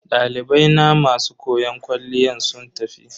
Dalibai na masu koyon kwalliya sun tafi.